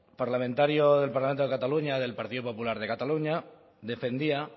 parlamentario del parlamento de cataluña del partido popular de cataluña defendía